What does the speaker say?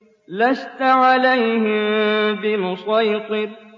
لَّسْتَ عَلَيْهِم بِمُصَيْطِرٍ